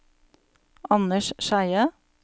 Anders Skeie